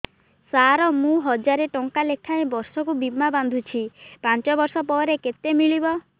ସାର ମୁଁ ହଜାରେ ଟଂକା ଲେଖାଏଁ ବର୍ଷକୁ ବୀମା ବାଂଧୁଛି ପାଞ୍ଚ ବର୍ଷ ପରେ କେତେ ମିଳିବ